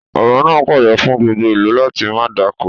Ọba náà pàṣẹ fún gbogbo ìlú láti máa dáko